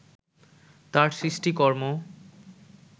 তার সৃষ্টিকর্ম